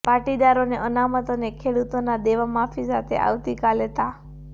પાટીદારોને અનામત અને ખેડૂતોના દેવા માફી સાથે આવતીકાલે તા